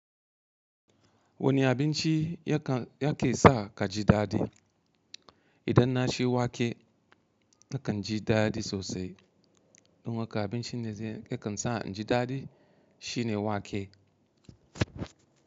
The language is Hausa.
Wani abinci ya kan, yake sa ka ji daɗi? Idan na ci wake na kan ji daɗi sosai. Kuma ga abincin da yake sa inji daɗi shine wake.